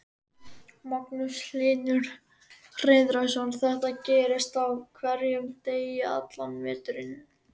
Magnús Hlynur Hreiðarsson: Þetta gerist á hverjum degi allan veturinn?